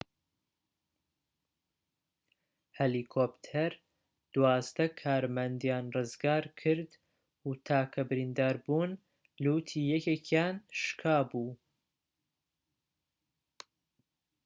هەلیکۆپتەر دوازدە کارمەندیان ڕزگارکرد و تاکە بریندار بوون لوتی یەکێکیان شكابوو